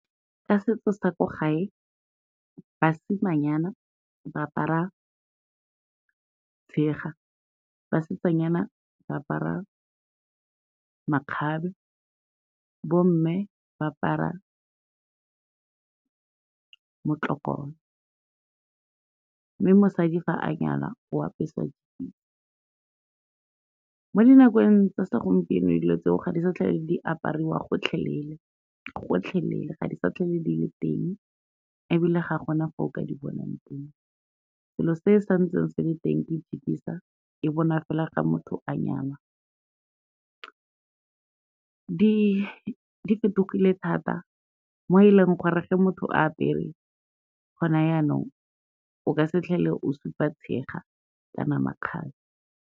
Ka setso sa ko gae, basimanyana ba apara tshega, basetsanyana ba apara makgabe, bomme ba apara motlokolo, mme mosadi ga a nyala o apeswa . Mo dinakong tsa segompieno, dilo tseo ga di sa tlhole di apariwa gotlhelele, gotlhelele ga di sa tlhole di le teng ebile ga gona fo o ka di bonang teng, selo se santseng se le teng ke e bonwa fela ga motho a nyala. Di fetogile thata mo e leng gore ge motho a apere gone jaanong, o ka se tlhole o supa tshega kana makgabe.